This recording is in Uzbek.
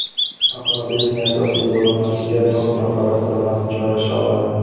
Avtomobilning asosiy bo‘linmasiga to‘rt nafar astronavt joylasha oladi.